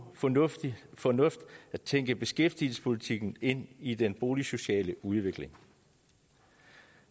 fornuftigt fornuftigt at tænke beskæftigelsespolitikken ind i den boligsociale udvikling